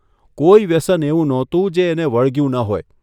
કોઇ વ્યસન એવું નહોતું જે એને વળગ્યું ન હોય.